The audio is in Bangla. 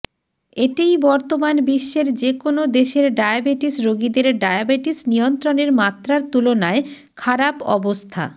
এটিই বর্তমান বিশ্বের যে কোনো দেশের ডায়াবেটিস রোগীদের ডায়াবেটিস নিয়ন্ত্রণের মাত্রার তুলনায় খারাপ অবস্থা